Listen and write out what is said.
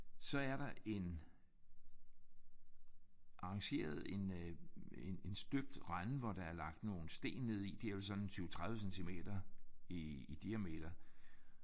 Så er der en arrangeret en øh en en støbt rende hvor der er lagt nogle sten ned i. De er vel sådan en 20 30 centimeter i i diameter